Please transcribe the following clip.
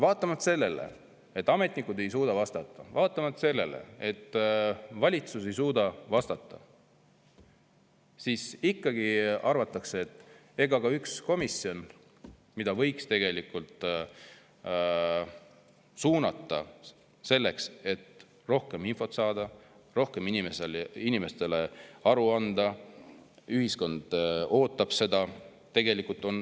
Vaatamata sellele, et ametnikud ei suuda vastata, ja vaatamata sellele, et valitsus ei suuda vastata, ikkagi arvatakse, et ega ka üks komisjon, mille võiks tegelikult suunata sellele, et rohkem infot saada, et rohkem inimestele aru anda, sest ühiskond ootab seda …